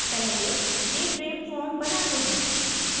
पहले jframe form बनाते हैं